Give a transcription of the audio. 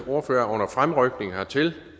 ordfører er under fremrykning hertil